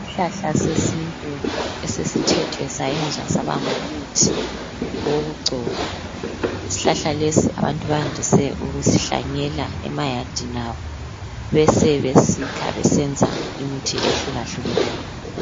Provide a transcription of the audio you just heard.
Isihlahla sesintu esesithethwe sayenzwa saba ngumuthi wokugcoba. Isihlahla lesi abantu bayandise ukusihlanyela emayadini abo besebesikha besenza imithi ehlukahlukeneyo